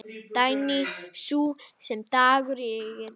Dagný, sú sem dagur yngir.